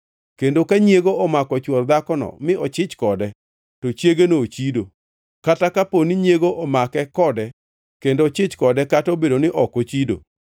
kendo ka nyiego omako chwor dhakono mi ochich kode, to chiegeno ochido, kata kapo ni nyiego omake kode kendo ochich kode kata obedo ni ok ochido,